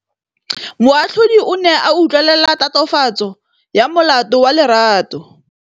Moatlhodi o ne a utlwelela tatofatsô ya molato wa Lerato.